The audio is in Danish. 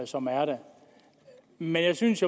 som er der men jeg synes